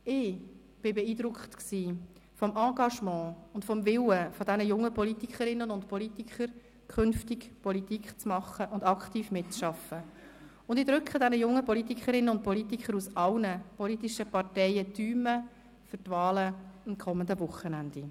Ich war beeindruckt vom Engagement und vom Willen dieser jungen Politikerinnen und Politiker, künftig Politik zu machen und aktiv mitzuarbeiten, und ich drücke diesen jungen Leuten aus allen politischen Parteien die Daumen für die Wahlen vom kommenden Wochenende.